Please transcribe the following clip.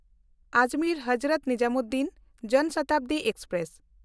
Ajmer Hazrat Nizamuddin Jan Shatabdi express